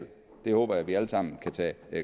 jeg håber at vi alle sammen kan tage